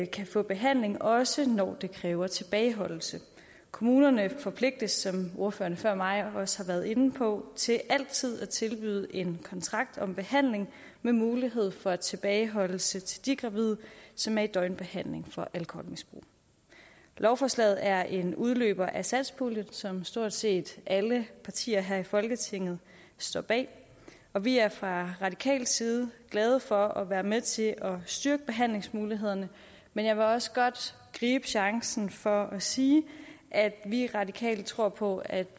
kan få behandling også når det kræver tilbageholdelse kommunerne forpligtes som ordføreren før mig også har været inde på til altid at tilbyde en kontrakt om behandling med mulighed for tilbageholdelse til de gravide som er i døgnbehandling for alkoholmisbrug lovforslaget er en udløber af satspuljen som stort set alle partier her i folketinget står bag og vi er fra radikal side glade for at være med til at styrke behandlingsmulighederne men jeg vil også godt gribe chancen for at sige at vi radikale tror på at